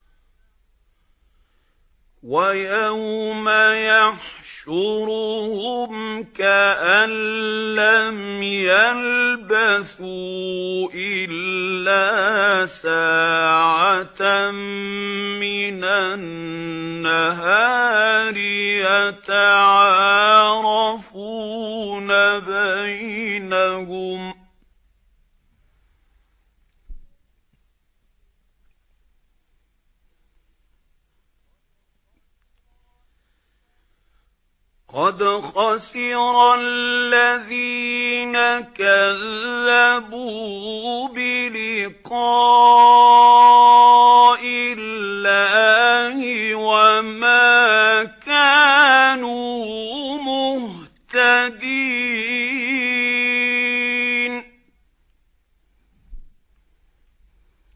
وَيَوْمَ يَحْشُرُهُمْ كَأَن لَّمْ يَلْبَثُوا إِلَّا سَاعَةً مِّنَ النَّهَارِ يَتَعَارَفُونَ بَيْنَهُمْ ۚ قَدْ خَسِرَ الَّذِينَ كَذَّبُوا بِلِقَاءِ اللَّهِ وَمَا كَانُوا مُهْتَدِينَ